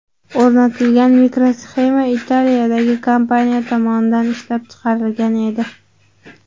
O‘rnatilgan mikrosxema Italiyadagi kompaniya tomonidan ishlab chiqarilgan edi.